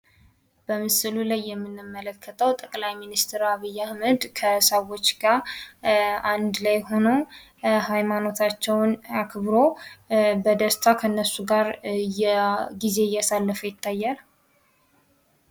በምስሉ ላይ የምንመለከተው ጠቅላይ ሚስተር አብይ አህመድ ከሃይማኖት እባቶች ጋር ሆኖ እንድ ላይ እያሳለፈ ይገኛል።